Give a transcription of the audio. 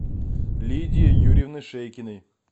лидии юрьевны шейкиной